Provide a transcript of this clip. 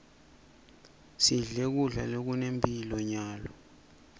sidle kudla lokunemphilo nyalo